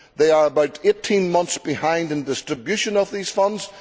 They are about 18 months behind in distribution of these funds.